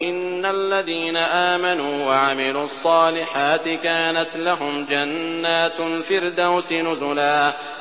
إِنَّ الَّذِينَ آمَنُوا وَعَمِلُوا الصَّالِحَاتِ كَانَتْ لَهُمْ جَنَّاتُ الْفِرْدَوْسِ نُزُلًا